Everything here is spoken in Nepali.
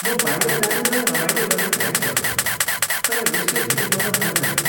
म बाहिर जाने र रमाइलो गर्ने प्रयास गर्छु, तर यसले धेरै मद्दत गर्दैन।